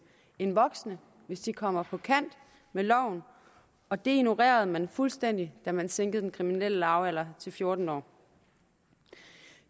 end voksne hvis de kommer på kant med loven og det ignorerede man fuldstændig da man sænkede den kriminelle lavalder til fjorten år